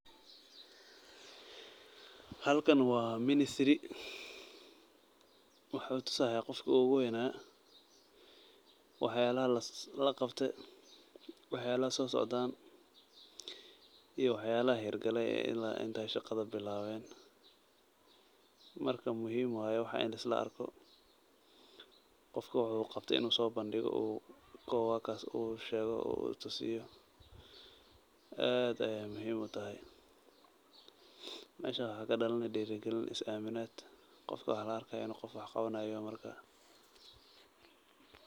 Halkan waa ministry, wuxuu tusaaya qofki oogu weynaa, wax yaabaha laqabte, wax yaabaha soo socdaan, iyo wax yaabaha hiir gale oo ilaa inta shaqada bilaaben, marka muhiim waye waxa in lisla arko, qofka wuxuu qabte inuu soo bandigo uu sheego uu tusiyo, aad ayeey muhiim utahay, meesha waxaa kadalani diiri galin iyo is aaminaad, qofka waxaa la arkaa inuu qof wax qabanaayo yoho marka.